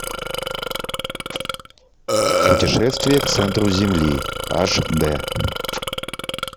путешествие к центру земли аш дэ